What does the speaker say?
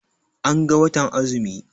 An ga watan azumi.